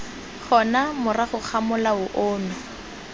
gona morago ga molao ono